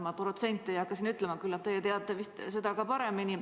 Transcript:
Ma protsente ei hakka ütlema, küllap teie teate paremini.